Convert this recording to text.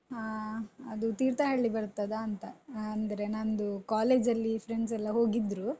ಹಾ ಅದು ತೀರ್ಥಹಳ್ಳಿ ಬರ್ತದಾಂತ ಅಂದ್ರೆ ನಂದು college ಅಲ್ಲಿ friends ಎಲ್ಲ ಹೋಗಿದ್ರು.